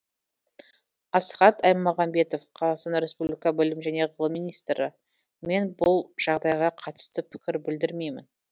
асхат аймағамбетов қазақстан рреспублика білім және ғылым министрі мен бұл жағдайға қатысты пікір білдірмеймін